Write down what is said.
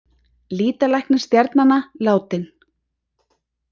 Lýtalæknir stjarnanna látinn